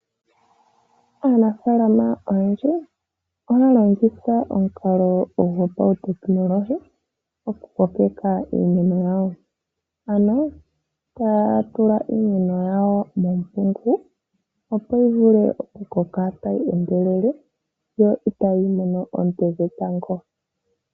Aanafalama oyendji ohaya longitha omukalo gwo pautekonolohi oku kokeka iinima yawo ,ano tatula iinima yawo mompungu opo yivule okukoka tayi endelele no itayi mono oonte dhetango.